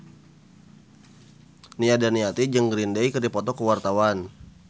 Nia Daniati jeung Green Day keur dipoto ku wartawan